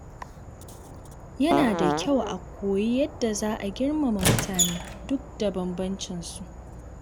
Yana da kyau a koyi yadda za a girmama mutane duk da bambancin su.